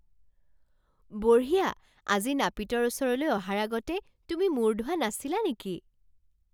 বঢ়িয়া! আজি নাপিতৰ ওচৰলৈ অহাৰ আগতে তুমি মূৰ ধোৱা নাছিলা নেকি?